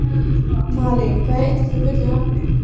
Malín, hvað heitir þú fullu nafni?